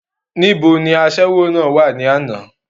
asẹ́wó náà dà ní àná?